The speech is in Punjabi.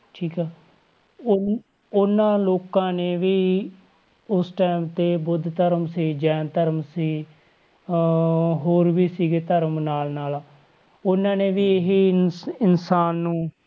ਠੀਕ ਆ ਉਹ~ ਉਹਨਾਂ ਲੋਕਾਂ ਨੇ ਵੀ ਉਸ time ਤੇ ਬੁੱਧ ਧਰਮ ਸੀ, ਜੈਨ ਧਰਮ ਸੀ ਅਹ ਹੋਰ ਵੀ ਸੀਗੇ ਧਰਮ ਨਾਲ ਨਾਲ, ਉਹਨਾਂ ਨੇ ਵੀ ਇਹੀ ਇਨਸ~ ਇਨਸਾਨ ਨੂੰ